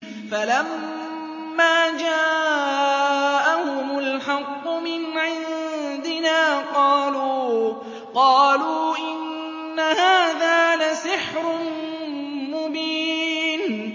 فَلَمَّا جَاءَهُمُ الْحَقُّ مِنْ عِندِنَا قَالُوا إِنَّ هَٰذَا لَسِحْرٌ مُّبِينٌ